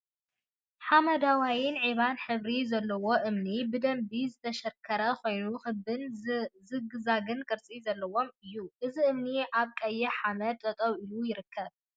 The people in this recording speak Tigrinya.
ሓመደዋይን ዒባን ሕብሪ ዘለዎ እምኒ ብደምቢ ዝተሸርክሐ ኮይኑ ክቢን ዝግዛግን ቅርፂ ዘለዎም እዮ። እዚ እምኒ አብ ቀይሕ ሓመደ ጠጠው ኢሉ ይርከብ።